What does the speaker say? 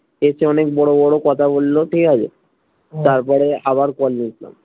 এর চেয়ে অনেক বড় বড় কথা বললো ঠিকাছে হম তারপরে আবার call